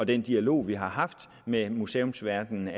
den dialog vi har haft med museumsverdenen